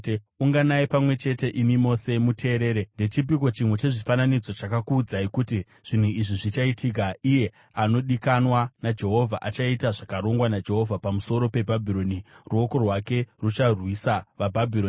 “Unganai pamwe chete, imi mose muteerere; Ndechipiko chimwe chezvifananidzo chakakuudzai kuti zvinhu izvi zvichaitika? Iye anodikanwa naJehovha achaita zvakarongwa naJehovha pamusoro peBhabhironi; ruoko rwake rucharwisa vaBhabhironi.